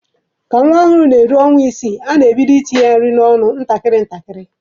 Ka nwa ọhụrụ na-eru ọnwa isii, a na-ebido itinye ya nri n'ọnụ ntakịrị ntakịrị.